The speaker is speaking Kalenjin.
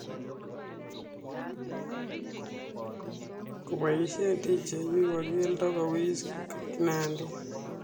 Kopoishen dj wiwa keldo kowis kinandet